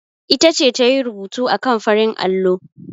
Ita ce ta yi rubutu akan farin allo.